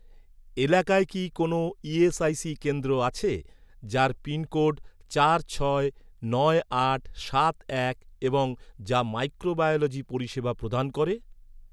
এলাকায় কি কোনও ইএসআইসি কেন্দ্র আছে, যার পিনকোড চার ছয় নয় আট সাত এক এবং যা মাইক্রোবায়োলজি পরিষেবা প্রদান করে?